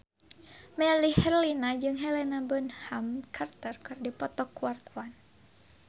Melly Herlina jeung Helena Bonham Carter keur dipoto ku wartawan